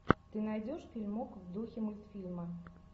ты найдешь фильмок в духе мультфильма